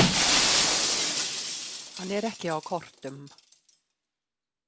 Hann er ekki á kortum.